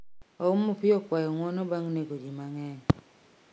Ouma Opiyo okwayo ng'uono bang' nego ji mang'eny